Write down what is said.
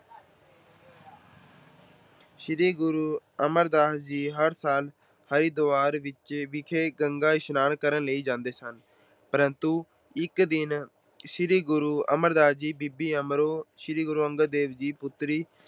ਸ਼੍ਰੀ ਗੁਰੂ ਅਮਰਦਾਸ ਜੀ ਹਰ ਸਾਲ ਹਰਿਦੁਆਰ ਵਿਖੇ ਗੰਗਾ ਇਸਨਾਨ ਕਰਨ ਲਈ ਜਾਂਦੇ ਸਨ ਪਰੰਤੂ ਇੱਕ ਦਿਨ ਸ਼੍ਰੀ ਗੁਰੂ ਅਮਰਦਾਸ ਜੀ ਬੀਬੀ ਅਮਰੋ ਸ਼੍ਰੀ ਗੁਰੂ ਅੰਗਦ ਦੇਵ ਜੀ ਪੁੱਤਰੀ